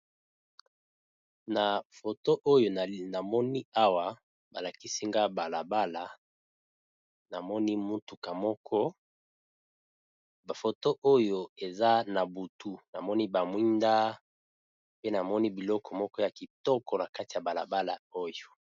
Na photo balakisi ngai Awa balakisi ngai balabala Namoni mutuka moko , photo oyo eza na butu namoni ba mwinda pe namoni biloko ya kitoko na kati ya balabala oyo.